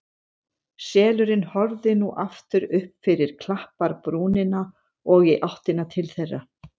Selurinn horfði nú aftur upp fyrir klapparbrúnina og í áttina til þeirra.